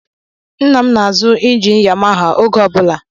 Nna m na-azụ injin Yamaha oge ọ bụla.